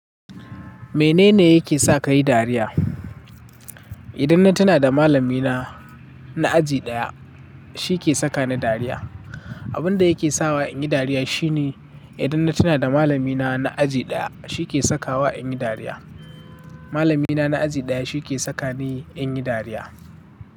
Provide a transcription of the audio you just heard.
Menene yake sa ka yi dariya? Idan na tuna da malamina na aji ɗaya, shi ke saka ni dariya. Abin da yake sawa in yi dariya shine idan na tuna da malamina na aji ɗaya, shi ke sakawa in yi dariya. Malamina na aji ɗaya shi ke saka ni in yi dariya.